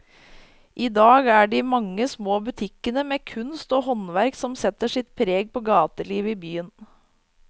I dag er det de mange små butikkene med kunst og håndverk som setter sitt preg på gatelivet i byen.